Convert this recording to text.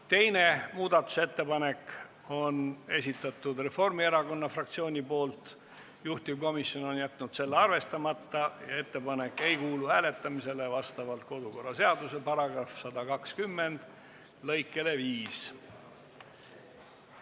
Teise muudatusettepaneku on esitanud Reformierakonna fraktsioon, juhtivkomisjon on jätnud selle arvestamata ja ettepanek ei kuulu hääletamisele vastavalt kodukorraseaduse § 120 lõikele 5.